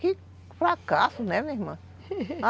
Que fracasso, né, minha irmã?